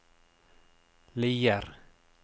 Lier